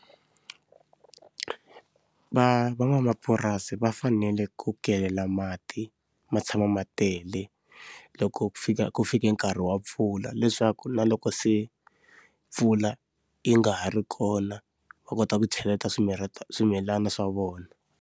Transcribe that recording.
Va van'wamapurasi va fanele ku kelela mati ma tshama ma tele, loko ku fika ku fike nkarhi wa mpfula leswaku na loko se mpfula yi nga ha ri kona, va kota ku cheleta swimirha swimilana swa vona.